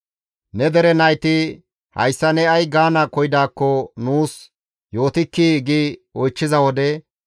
«Ne dere nayti, ‹Hayssa ne ay gaana koyidaakko nuus yootikkii?› gi oychchiza wode,